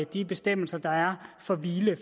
de bestemmelser der er for hvile